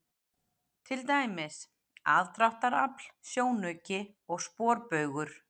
Til dæmis: aðdráttarafl, sjónauki og sporbaugur.